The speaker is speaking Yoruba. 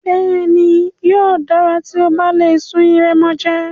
Bẹ́ẹ̀ni, yóò dára tí o bá lè sun ìrẹ̀mòjé.